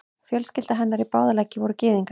Fjölskylda hennar í báða leggi voru gyðingar.